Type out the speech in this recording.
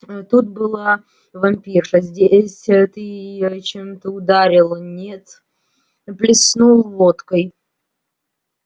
тут была вампирша здесь ты её чем-то ударил нет плеснул водкой